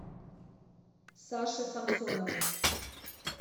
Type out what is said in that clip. саше самсонову